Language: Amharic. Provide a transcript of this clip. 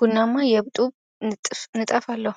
ቡናማ የጡብ ንጣፍ አለው።